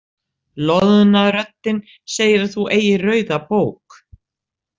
Loðna röddin segir að þú eigir rauða bók.